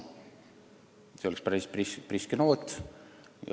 See oleks päris priske noos.